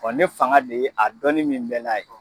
Bɔn ne fanga de ye a dɔnin min bɛ n na ye